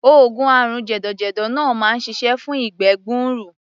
Oògùn àrùn jẹ̀dọ̀jẹ̀dọ̀ náà máa ń ṣiṣẹ́ fún ìgbẹ́ gbuuru.